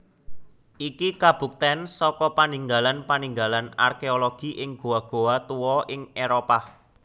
Iki kabuktén saka paninggalan paninggalan arkéologi ing goa goa tuwa ing Éropah